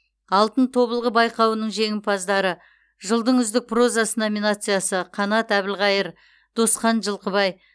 алтын тобылғы байқауының жеңімпаздары жылдың үздік прозасы номинациясы қанат әбілқайыр досхан жылқыбай